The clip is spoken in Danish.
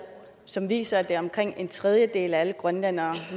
som viser at det er omkring en tredjedel af alle grønlændere